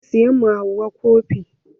Zan siya ma Hauwa kofi.